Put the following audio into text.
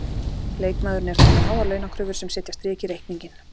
Leikmaðurinn er þó með háar launakröfur sem setja strik í reikninginn.